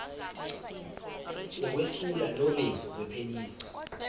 sekwesula nobe kuphelisa